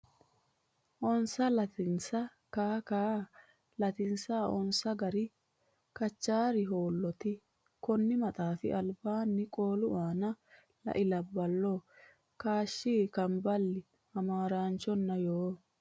onsa lattansa Kaa Kaa lattansa onsa gara Kachaari Holloote konni maxaafi albaanni qooli aana lai Labballo kaashshi kamaballi Hamaaraanchonna Yoo !